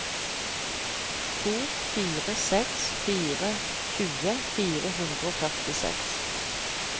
to fire seks fire tjue fire hundre og førtiseks